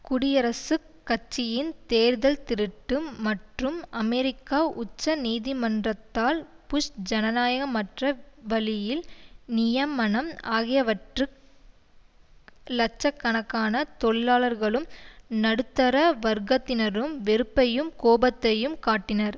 குடியரசுக் கட்சியின் தேர்தல் திருட்டு மற்றும் அமெரிக்க உச்ச நீதிமன்றத்தால் புஷ் ஜனநாயகமற்ற வழியில் நியமனம் ஆகியவற்றுக்கு லட்ச கணக்கான தொழிலாளர்களும் நடுத்தர வர்க்கத்தினரும் வெறுப்பையும் கோபத்தையும் காட்டினர்